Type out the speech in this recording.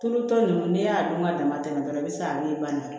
Tulu tɔ nunnu n'e y'a dɔn ka dama tɛmɛ dɔrɔn bɛ se ka min ban